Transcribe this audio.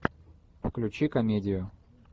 включи комедию